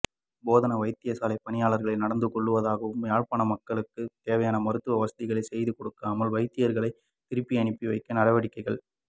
போதனா வைத்தியசாலைப் பணிப்பாளர் நடந்து கொள்வதாகவும் யாழ்ப்பாண மக்களுக்கு தேவையான மருத்துவ வசதிகளை செய்து கொடுக்காமல் வைத்தியர்களை திருப்பியனுப்பிவைக்கும் நடவடிக்கையில்